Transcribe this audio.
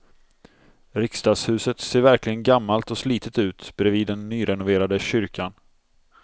Riksdagshuset ser verkligen gammalt och slitet ut bredvid den nyrenoverade kyrkan.